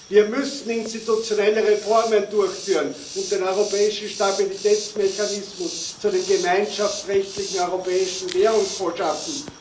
Wir müssen institutionelle Reformen durchführen und den Europäischen Stabilitätsmechanismus zu einem gemeinschaftsrechtlichen Europäischen Währungsfonds schaffen.